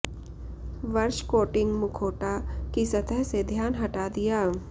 वर्ष कोटिंग मुखौटा की सतह से ध्यान हटा दिया